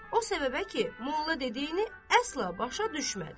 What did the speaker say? O səbəbə ki, molla dediyini əsla başa düşmədi.